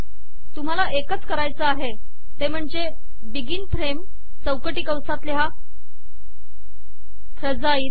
तुम्हाला एकच करायचे आहे ते म्हणजे बिगिन फ्रेम चौकटी कंसात लिहा फ्रजाइल